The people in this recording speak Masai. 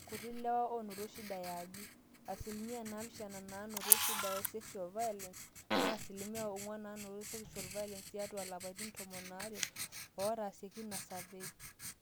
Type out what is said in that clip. kuti ilewa oonoto shida eaji. asilimia naapishana naanoto shida e sexual violence, naa asilimia ong'wan naanoto sexual violence tiatwa lapaitin tomon aare ootaasieki ina survey